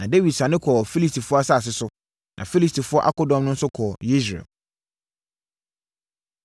Na Dawid sane kɔɔ Filistifoɔ asase so, na Filistifoɔ akodɔm no nso kɔɔ Yesreel.